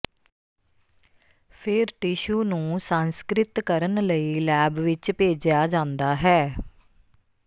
ਫਿਰ ਟਿਸ਼ੂ ਨੂੰ ਸੰਸਕ੍ਰਿਤ ਕਰਨ ਲਈ ਲੈਬ ਵਿਚ ਭੇਜਿਆ ਜਾਂਦਾ ਹੈ